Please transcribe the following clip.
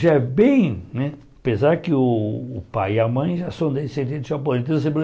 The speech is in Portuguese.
Já é bem, né apesar que o o pai e a mãe já são descendentes japoneses, então